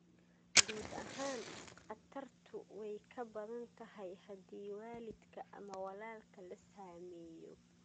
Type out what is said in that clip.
Guud ahaan, khatartu way ka badan tahay haddii waalidka ama walaalka la saameeyo.